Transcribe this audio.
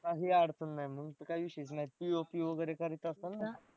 काही अडचण नाही मग तर काय विषयच नाही POP वगैरे करायचं असतं ना